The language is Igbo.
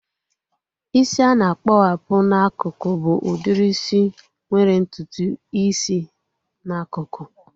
Isi a na-akpowapu n'akụkụ bụ udiri isi nwere ntutu isi n'akụkụ